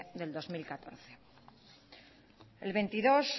del dos mil catorce el veintidós